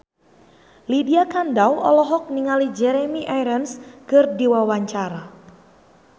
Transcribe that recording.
Lydia Kandou olohok ningali Jeremy Irons keur diwawancara